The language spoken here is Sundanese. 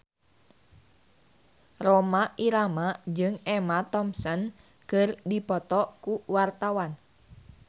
Rhoma Irama jeung Emma Thompson keur dipoto ku wartawan